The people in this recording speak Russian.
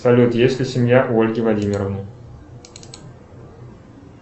салют есть ли семья у ольги владимировны